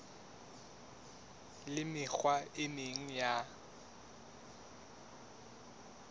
le mekgwa e meng ya